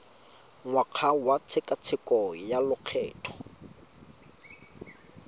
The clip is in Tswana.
ngwaga wa tshekatsheko ya lokgetho